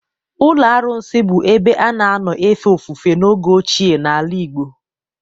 Ụlọ arụsị bụ ebe a na-anọ efe ofufe n'oge ochie n'ala Igbo.